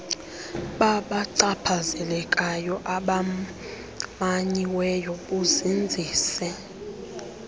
babachaphazelekayo abamanyiweyo buzinzise